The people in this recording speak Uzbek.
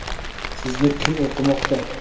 Sizni kim o‘qimoqda?